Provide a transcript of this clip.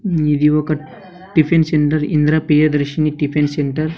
ఇది ఒక tiffin centre Indira Priyadarshini tiffin centre .